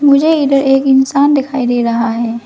मुझे इधर एक इंसान दिखाई दे रहा है।